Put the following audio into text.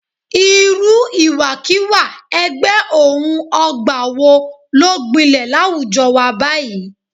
Irú ìwàkiwà ẹgbẹ́-òun-ọ̀gbà wo ló gbilẹ̀ láwùjọ wa báyìí